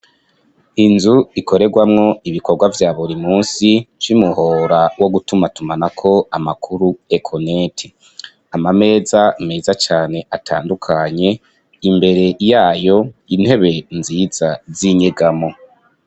Inzu ikorerwamwo ibikorwa vya buri musi vy'umuhora wo gutumatumanako amakuru ekoneti, amameza meza cane atandukanye, imbere yayo intebe nziza zinyegamo.